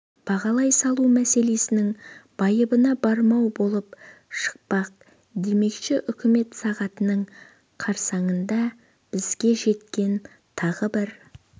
бағалай салу мәселенің байыбына бармау болып шықпақ демекші үкімет сағатының қарсаңында бізге жеткен тағы бір